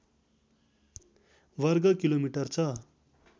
वर्गकिलोमिटर छ